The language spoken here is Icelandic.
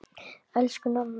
Elsku Nanna.